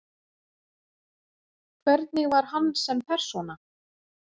Hvernig var hann sem persóna?